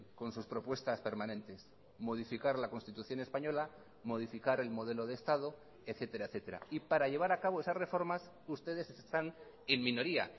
con sus propuestas permanentes modificar la constitución española modificar el modelo de estado etcétera etcétera y para llevar a cabo esas reformas ustedes están en minoría